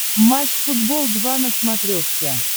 матч футбол два на смотрешке